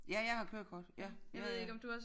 Ja jeg har kørekort ja ja ja